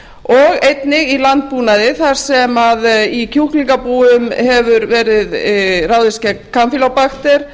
og einnig í landbúnaði þar sem í kjúklingabúum hefur verið ráðist gegn kampýlóbakter